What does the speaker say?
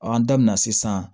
an da bina sisan